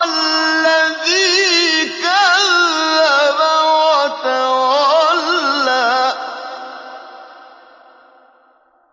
الَّذِي كَذَّبَ وَتَوَلَّىٰ